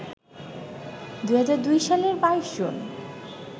২০০২ সালের ২২ জুন